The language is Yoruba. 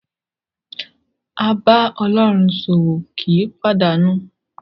A bá Ọlọ́run ṣòwò kì í pàdánù.